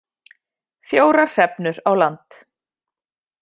Fjórar hrefnur á land